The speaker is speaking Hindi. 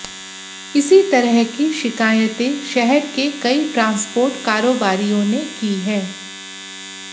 इसी तरह की शिकायतें शहर के कई ट्रांसपोर्ट कारोबारियों ने की हैं